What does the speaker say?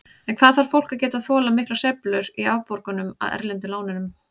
En hvað þarf fólk að geta þolað miklar sveiflur í afborgunum af erlendu lánunum?